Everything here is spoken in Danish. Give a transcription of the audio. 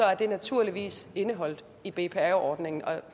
er det naturligvis indeholdt i bpa ordningen